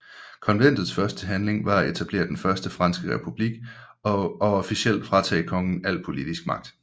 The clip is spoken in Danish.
Konventets første handling var at etablere den Første Franske Republik og officielt fratage kongen al politisk magt